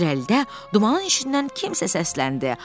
İrəlidə dumanın içindən kimsə səsləndi.